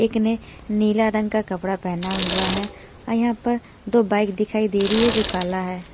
एक ने नीला रंग का कपड़ा पहना हुआ है अ यहां पर दो बाइक दिखाई दे रही है जो काला है।